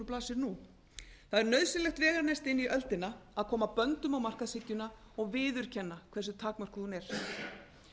blasir nú það er nauðsynlegt veganesti inn í öldina að koma böndum á markaðshyggjuna og viðurkenna hversu takmörkuð hún er